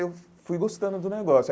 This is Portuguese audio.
Eu fui gostando do negócio.